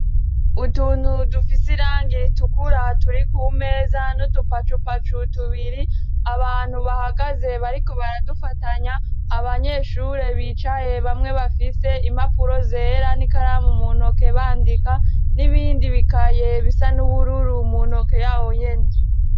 Utuntu dufise iranga ritukura turi ku meza n'udupacupacu tubiri, abantu bahagaze bariko baradufatanya, abanyeshure bicaye bamwe bafise impapuro zera n'ikaramu mu ntoke bandika, n'ibindi bikaye bisa n'ubururu mu ntoke yabo nyene.